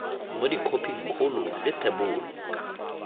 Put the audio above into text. mo khophing kgolo le thebolo